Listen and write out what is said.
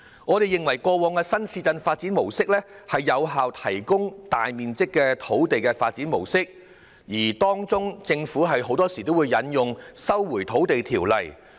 我們認為過往的新市鎮發展模式，是有效提供大面積土地的發展模式，其間，政府往往會引用《收回土地條例》。